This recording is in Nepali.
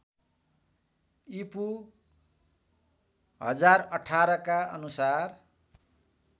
ईपू १०१८ का अनुसार